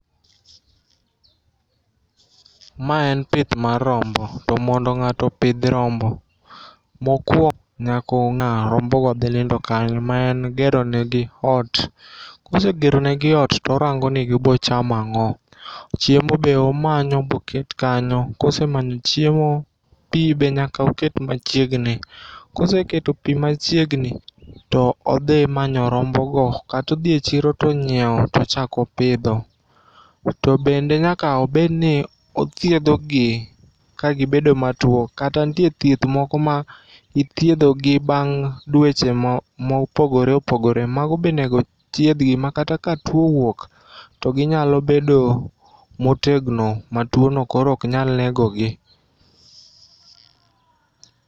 Ma en pith mar rombo, to mondo ng'ato opidh rombo mokwo nyako ng'a rombo go dhi nindo kanyo. Ma en gero negi ot, kose geronegi ot torango ni gibo chamo ang'o. Chiemo be omanyo boket kanyo, kosemanyo chiemo, pi be nyaka oket machiegni. Koseketo pi machiegni, to odhi manyo rombo go. Katodhi e chiro tonyiewo tochako pidho, to bende nyaka obed ni othiedho gi ka gibedo matuo. Kata nitie thieth moko ma ithiedho gi bang' dweche ma opogore opogore. Mago be onego thiedh gi ma kata ka tuo owuok to ginya bedo motegno ma tuono koro ok nya nego gi.